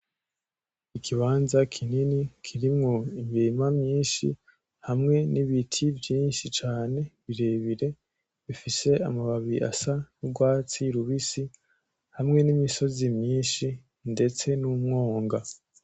Ikibanza kinini kirimwo imirima myinshi, hamwe n'ibiti vyinshi cane birebire, bifise amababi asa n'urwatsi rubisi, hamwe n'imisozi myinshi ndetse n'umwonga.